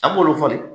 An b'olu fɔ de